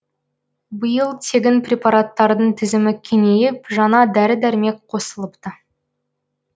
биыл тегін препараттардың тізімі кеңейіп жаңа дәрі дәрмек қосылыпты